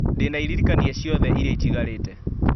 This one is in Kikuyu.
ndĩna iririkania ciothe iria itigarĩte